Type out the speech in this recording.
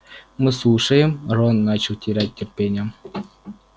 мы слушаем рон начинал терять терпение